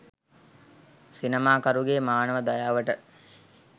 සිනමාකරුගේ මානව දයාවට